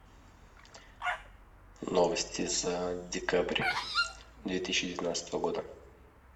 новости за декабрь две тысячи девятнадцатого года